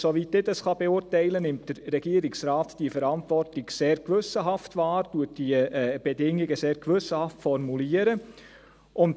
Soweit ich dies beurteilen kann, nimmt der Regierungsrat diese Verantwortung sehr gewissenhaft wahr, und er formuliert die Bedingungen sehr gewissenhaft.